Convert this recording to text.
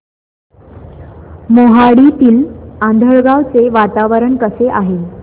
मोहाडीतील आंधळगाव चे वातावरण कसे आहे